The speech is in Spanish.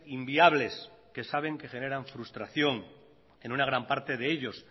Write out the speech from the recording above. inviables que saben que generan frustración en una gran parte de ellos